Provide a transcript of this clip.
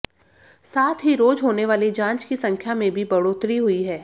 साथ ही रोज होने वाली जांच की संख्या में भी बढ़ोतरी हुई है